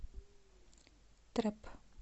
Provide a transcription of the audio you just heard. трэп